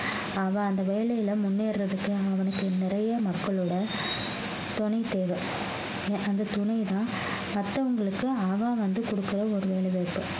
அவன் அந்த வேலையில முன்னேறதுக்கு அவனுக்கு நிறைய மக்களோட துணை தேவை அஹ் அந்த துணைதான் மத்தவங்களுக்கு அவன் வந்து கொடுக்கிற ஒரு வேலைவாய்ப்பு